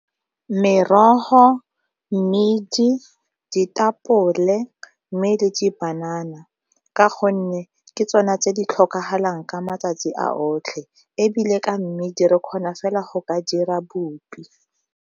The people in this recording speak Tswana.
Merogo, mmidi, ditapole mme le di banana, ka gonne ke tsona tse di tlhokagalang ka matsatsi a otlhe ebile ka mmedi re kgona fela go ka dira bopi.